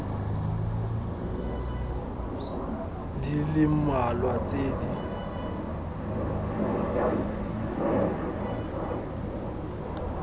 di le mmalwa tse di